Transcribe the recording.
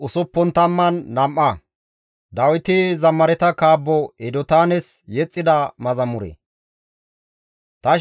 Ta shemppoya Xoossan xalla shemppo demmawus; taas atoteththi izappe yees.